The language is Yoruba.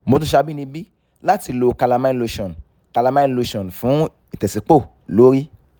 mo tún ṣàbìnibí láti lo calamine cs] lotion calamine lotion fún ìtẹ̀sípọ̀ lórí